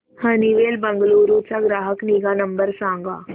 Honeywell Bengaluru चा ग्राहक निगा नंबर सांगा